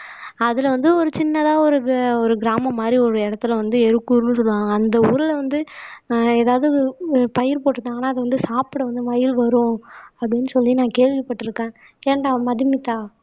அதிலே வந்து ஒரு சின்னதா ஒரு கிராமம் மாதிரி ஒரு எருக்கூர்ன்றுவாங்க அந்த ஊர்ல வந்து ஆஹ் எதாவது பயிர் போட்டுட்டாங்கன்னா அது வந்து சாப்பிட வந்து மயில் வரும். அப்படின்னு சொல்லி நான் கேள்விப்பட்டிருக்கேன் ஏன்டா மதுமிதா